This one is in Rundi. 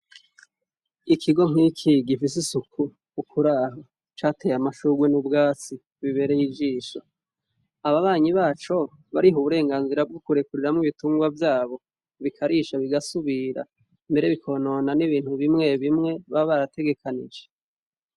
Ikigo gifis' isuku catey' amashurwe n' ubwatsi biberey' ijisho, ababanyi baco, barih' uburenganzira bwukurekurira mw'ibitungwa vyabo bikarisha bigasubira, mbere bikonona n'ibintu bimwe bimwe baba barategekanije.